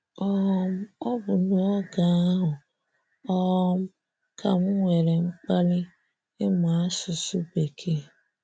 um Ọ bụ n'oge ahụ um ka m nwere mkpali ịmu asụsụ bekee.